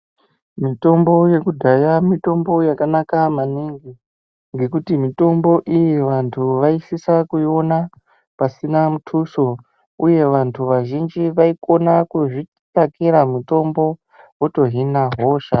Mitombo yekudhaya, mitombo yakanaka maningi , ngekuti mitombo iyi vantu vayisisa kuyiwona pasina muthuso. Uye vantu vazhinji vayikona kuzvitsvakira mutombo wotohina hosha.